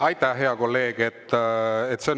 Aitäh, hea kolleeg!